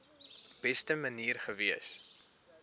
beste manier gewees